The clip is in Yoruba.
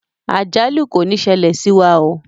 Àjálù kò ní ṣẹlẹ̀ sí wa oo.